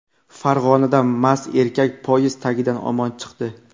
Farg‘onada mast erkak poyezd tagidan omon chiqdi.